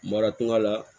Mara tunga la